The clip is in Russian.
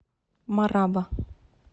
мараба